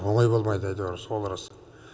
оңай болмайды әйтеуір сол рас